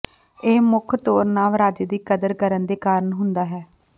ਇਹ ਮੁੱਖ ਤੌਰ ਨਵ ਰਾਜੇ ਦੀ ਕਦਰ ਕਰਨ ਦੇ ਕਾਰਨ ਹੁੰਦਾ ਹੈ